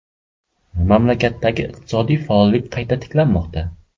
Mamlakatdagi iqtisodiy faollik qayta tiklanmoqda.